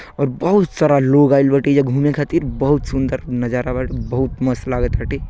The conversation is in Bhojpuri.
बहुत सारा लोग आइल बाटे एईजा घूमे खातिर। बहुत सुंदर नजारा बाटे। बहुत मस्त लागतटे।